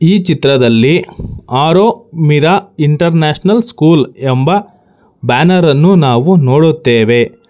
ಈ ಚಿತ್ರದಲ್ಲಿ Aro Meera international school ಎಂಬ ಬ್ಯಾನರ್ ಅನ್ನು ನಾವು ನೋಡುತ್ತೇವೆ.